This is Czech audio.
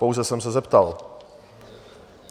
Pouze jsem se zeptal.